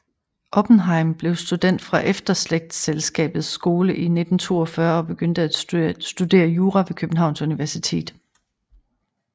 Oppenhejm blev student fra Efterslægtselskabets Skole 1942 og begyndte at studere jura ved Københavns Universitet